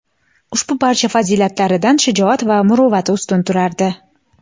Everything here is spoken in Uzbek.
Ushbu barcha fazilatlaridan shijoat va muruvvati ustun turardi.